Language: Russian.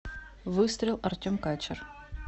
выстрел артем качер